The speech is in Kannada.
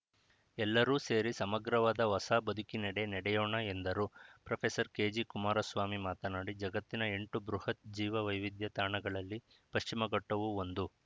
ಎಲ್ಲರೂ ಸೇರಿ ಸಮಗ್ರವಾದ ಹೊಸ ಬದುಕಿನೆಡೆ ನಡೆಯೋಣ ಎಂದರು ಪ್ರೊಫೆಸರ್ ಕೆಜಿ ಕುಮಾರಸ್ವಾಮಿ ಮಾತನಾಡಿ ಜಗತ್ತಿನ ಎಂಟು ಬೃಹತ್‌ ಜೀವ ವೈವಿಧ್ಯ ತಾಣಗಳಲ್ಲಿ ಪಶ್ಚಿಮಘಟ್ಟವೂ ಒಂದು